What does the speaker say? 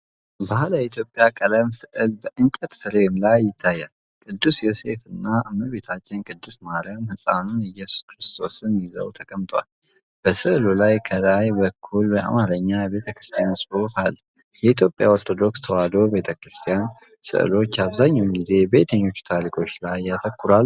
ባህላዊ የኢትዮጵያ ቀለም ስዕል በእንጨት ፍሬም ላይ ይታያል። ቅዱስ ዮሴፍ እና እመቤታችን ቅድስት ማርያም ሕፃኑን ኢየሱስ ክርስቶስን ይዘው ተቀምጠዋል። በስዕሉ ላይ ከላይበኩል በአማርኛ የቤተክርስቲያን ጽሑፍ አለ። የኢትዮጵያ ኦርቶዶክስ ተዋሕዶ ቤተ ክርስቲያን ሥዕሎች አብዛኛውን ጊዜ በየትኞቹ ታሪኮች ላይ ያተኩራሉ?